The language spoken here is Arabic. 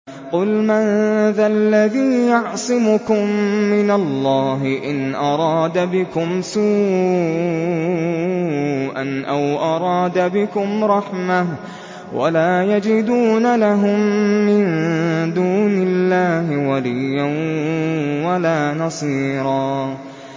قُلْ مَن ذَا الَّذِي يَعْصِمُكُم مِّنَ اللَّهِ إِنْ أَرَادَ بِكُمْ سُوءًا أَوْ أَرَادَ بِكُمْ رَحْمَةً ۚ وَلَا يَجِدُونَ لَهُم مِّن دُونِ اللَّهِ وَلِيًّا وَلَا نَصِيرًا